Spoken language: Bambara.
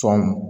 Sɔn